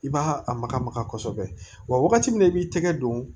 I b'a a maga maga kosɛbɛ wa wagati min na i b'i tɛgɛ don